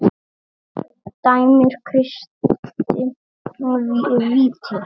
Dæmir Kristinn víti?